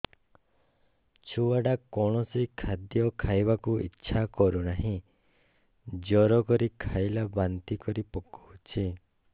ଛୁଆ ଟା କୌଣସି ଖଦୀୟ ଖାଇବାକୁ ଈଛା କରୁନାହିଁ ଜୋର କରି ଖାଇଲା ବାନ୍ତି କରି ପକଉଛି